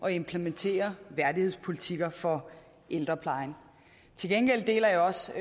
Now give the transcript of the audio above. og implementere værdighedspolitikker for ældreplejen til gengæld deler jeg også